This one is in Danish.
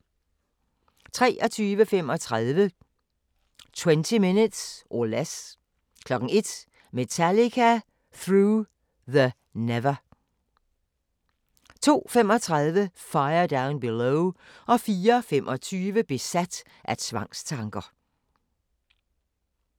23:35: 30 Minutes or Less 01:00: Metallica Through The Never 02:35: Fire Down Below 04:25: Besat af tvangstanker